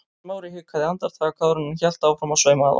Smári hikaði andartak áður en hann hélt áfram að sauma að honum.